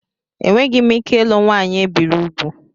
Enweghị m ike ịlụ nwanyị ebiri úgwù.